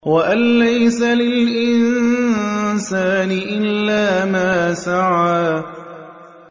وَأَن لَّيْسَ لِلْإِنسَانِ إِلَّا مَا سَعَىٰ